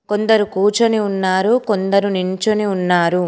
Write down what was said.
కొందరు కూర్చొని ఉన్నారు కొందరు నించొని ఉన్నారు.